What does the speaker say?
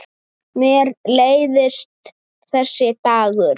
Mér leiðist þessi dagur.